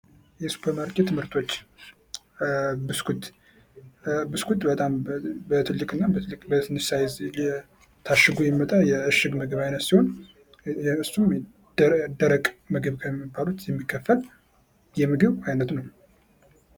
የሱፐርማርኬት ሞርቶች ብስኩት:- ብስኩት በጣም በትንሽ እና በትልቅ ሳይዝ ታሽጎ የሚመጣ የእሽግ ምግብ አይነት ሲሆን እሱም ደረቅ ምግብ ከሚባሉት መካከል የምግብ አይነት ነዉ።